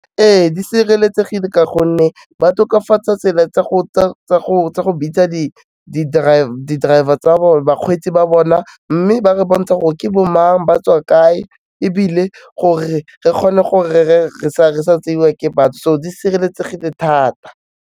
Ee, di sireletsegile ka gonne ba tokafatsa tsela tsa go bitsa di-driver tsa bone, bakgweetsi ba bona mme ba re bontsha gore ke bo mang, ba tswa kae ebile gore re kgone gore re sa tseiwa ke batho di sireletsegile thata.